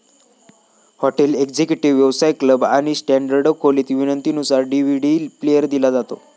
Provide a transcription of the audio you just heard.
Hotel executive, व्यवसाय club, आणि standard खोलीत विनंती नुसार डी व्ही डी प्लेअर दिला जातो.